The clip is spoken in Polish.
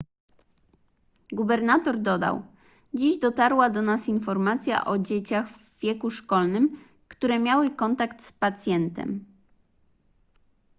gubernator dodał dziś dotarła do nas informacja o dzieciach w wieku szkolnym które miały kontakt z pacjentem